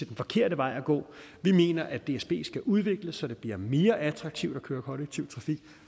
den forkerte vej at gå og vi mener at dsb skal udvikles så det bliver mere attraktivt at køre kollektiv trafik